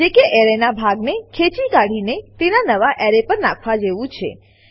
જે કે એરેનાં ભાગને ખેંચી કાઢીને તેને નવા એરે પર નાખવા જેવું છે